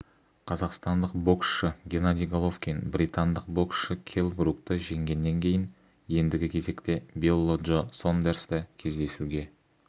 қазақстандық боксшы геннадий головкин британдық боксшы келл брукті жеңгеннен кейін ендігі кезекте билли джо сондерсті кездесуге